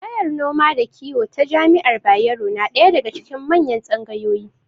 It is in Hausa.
Tsangayar noma da kiwo ta jami'ar Bayero na ɗaya daga cikin manyan tsangayoyi.